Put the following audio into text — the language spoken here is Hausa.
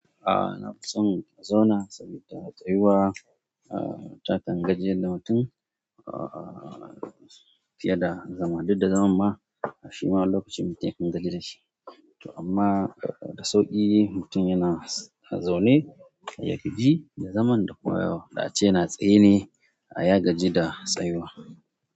A nafi son in zauna saboda tsayuwa, ah takan gajiyar da mutum ah fiye da zama. Duk da zaman ma, shi ma lokacin mutum kan gaji dashi. To amma da sauƙi mutum yana zaune ya gaji da zaman, da kuwa da ace yana tsaye ne a ya gaji da tsayuwa.